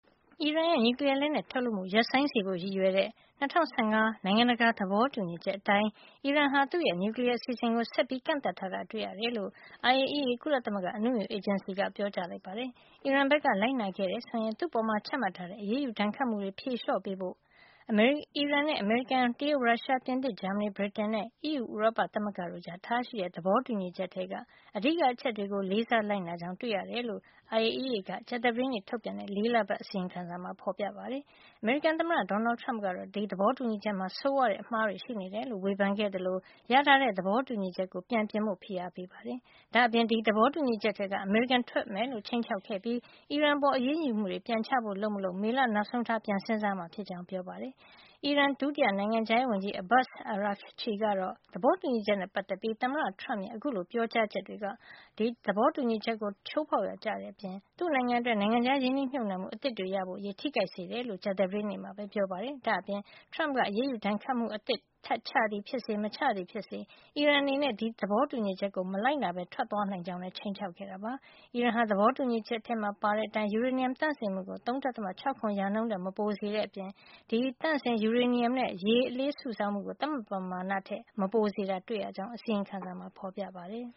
အီရန်ရဲ့ နျူကလီယားလက်နက်ထုတ်လုပ်မှု ရပ်ဆိုင်းစေဖို့ရည်ရွယ်တဲ့ ၂၀၁၅ နိုင်ငံတကာ သဘောတူညီချက်အတိုင်း အီရန်က သူ့ရဲ့ နျူကလီယား အစီအစဉ်ကို ဆက်ပြီးကန့်သတ်ထားတာ တွေ့ရတယ်လို့ IAEA ကုလသမဂ္ဂအနုမြူအေဂျင်စီက ပြောကြားလိုက်ပါတယ်။ အီရန်ဘက်က လိုက်နာခဲ့တယ် ဆိုရင် သူ့အပေါ်ချမှတ်ထားတဲ့ အရေးယူဒဏ်ခတ်မှုတွေ ဖြေလျှော့ပေးဖို့ အီရန်နဲ့ အမေရိကန်၊ တရုတ်၊ ရုရှား၊ ပြင်သစ်၊ ဂျာမဏီ၊ ဗြိတိန်နဲ့ အီးယူဥရောပသမဂ္ဂတို့ကြား ထားရှိတဲ့ သဘောတူညီချက်ထဲက အဓိက အချက်တွေကို လေးစားလိုက်နာကြောင်း တွေ့ရတယ်လို့ IAEA ကကြာသပတေးနေ့ထုတ်ပြန်တဲ့ ၄ လပတ် အစီရင်ခံစာမှာ ဖေါ်ပြထားပါတယ်။ အမေရိကန်သမ္မတ Donald Trump ကတော့ ဒီသဘောတူညီချက် မှာ ဆိုးဝါးတဲ့ အမှားတွေရှိနေတယ်လို့ ဝေဖန်ခဲ့သလို ရထားတဲ့ သဘောတူညီချက်ကို ပြန်ပြင်ဖို့လည်း ဖိအားပေးခဲ့ပါတယ်။ ဒါ့အပြင် ဒီသဘောတူညီချက်ထဲက အမေရိကန် ထွက်မယ်လို့ ခြိမ်းခြောက်ခဲ့ပြီး အီရန်အပေါ် အရေးယူမှုတွေ ပြန်ချဖို့ လုပ်မလုပ် မေလနောက်ဆုံးထား ပြန်စဉ်းစားမှာ ဖြစ်ကြောင်းလည်း ပြောပါတယ်။ အီရန် ဒု နိုင်ငံခြားရေးဝန်ကြီး Abbas Araghchi ကတော့ သဘောတူညီချက်နဲ့ ပတ်သက်ပြီး သမ္မတ Trump ရဲ့ အခုလို ပြောကြားချက်တွေ က သဘောတူညီချက်ကို ချိုးဖေါက်ရာရောက်တဲ့ အပြင် သူ့နိုင်ငံအတွက် နိုင်ငံခြားရင်းနှီးမြှုပ်နှံမှု အသစ်တွေရဖို့အရေး ထိခိုက်စေတယ်လို့ ကြာသပတေးနေ့မှာပဲ ပြောပါတယ်။ ဒါ့အပြင် Trump က အရေးယူဒဏ်ခတ်မှု အသစ်ထပ်ချသည်ဖြစ်စေ မချသည်ဖြစ်စေ အီရန်အနေနဲ့ ဒီသဘောတူညီချက်ကို မလိုက်နာပဲ ထွက်သွားနိုင်ကြောင်း ခြိမ်းခြောက်ခဲ့တာပါ။ အီရန်ဟာ သဘောတူညီချက်ထဲမှာ ပါတဲ့အတိုင်း ယူရေနီယမ်သန့်စင်မှုကို ၃.၆၇ ရာခိုင်နှုန်းထက် မပိုစေတဲ့ အပြင် ဒီသန့်စင်- ယူရေနီယမ်နဲ့ ရေလေးစုဆောင်းမှုကို သတ်မှတ်ပမာဏထက် မပိုစေတာ တွေ့ရကြောင်း အစီရင်ခံစာမှာ ဖေါ်ပြထားပါတယ်